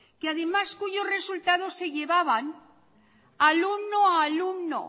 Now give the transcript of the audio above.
que además cuyo resultado se llevaban alumno a alumno